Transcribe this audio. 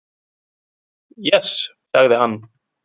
Yes, sagði hann.